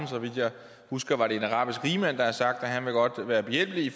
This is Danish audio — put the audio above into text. så vidt jeg husker har sagt at han godt vil være behjælpelig